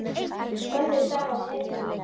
Þannig starfa hetjur!